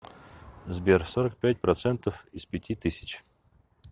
сбер сорок пять процентов из пяти тысяч